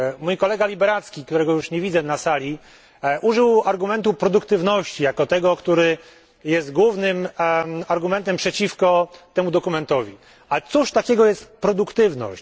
Mój kolega Liberadzki, którego już nie widzę na sali, użył argumentu produktywności jako tego, który jest głównym argumentem przeciwko temu dokumentowi. Cóż to takiego jest, ta produktywność?